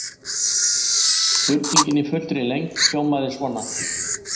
Spurningin í fullri lengd hljómaði svona: